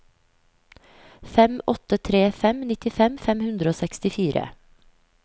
fem åtte tre fem nittifem fem hundre og sekstifire